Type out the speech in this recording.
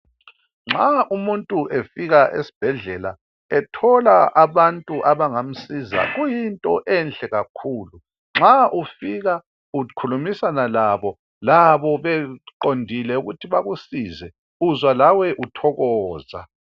Nxa umuntu efika esibhedlela ethola abantu abangamsiza kuyinto enhle kakhulu nxa ufika ukhulumisana labo beqondile ukuthi bekusize uzwalawe uthokoza